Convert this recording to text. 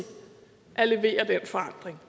at levere den forandring